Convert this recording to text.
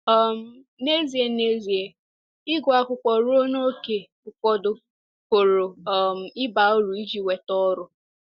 um N’ezie N’ezie, ịgụ akwụkwọ ruo n’ókè ụfọdụ pụrụ um ịba uru iji nweta ọrụ.